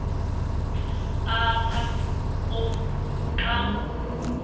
apha komkhulu xa